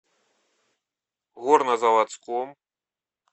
горнозаводском